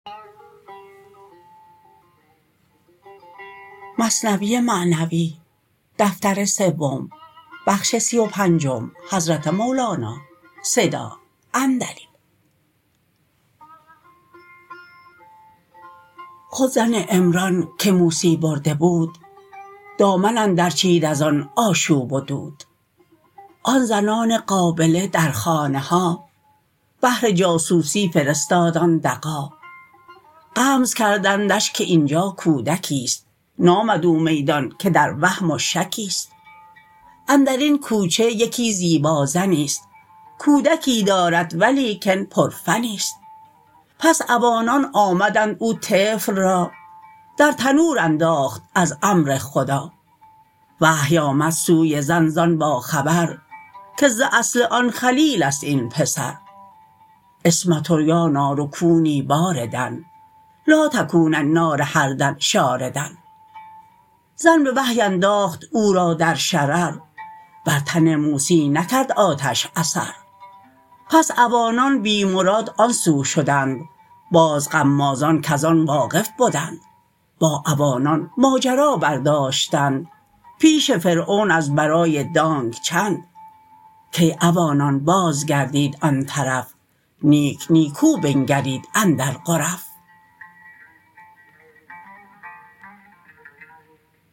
خود زن عمران که موسی برده بود دامن اندر چید از آن آشوب و دود آن زنان قابله در خانه ها بهر جاسوسی فرستاد آن دغا غمز کردندش که اینجا کودکیست نامد او میدان که در وهم و شکیست اندرین کوچه یکی زیبا زنیست کودکی دارد ولیکن پرفنیست پس عوانان آمدند او طفل را در تنور انداخت از امر خدا وحی آمد سوی زن زان با خبر که ز اصل آن خلیلست این پسر عصمت یا نار کونی باردا لا تکون النار حرا شاردا زن به وحی انداخت او را در شرر بر تن موسی نکرد آتش اثر پس عوانان بی مراد آن سو شدند باز غمازان کز آن واقف بدند با عوانان ماجرا بر داشتند پیش فرعون از برای دانگ چند کای عوانان باز گردید آن طرف نیک نیکو بنگرید اندر غرف